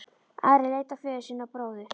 Ari leit á föður sinn og bróður.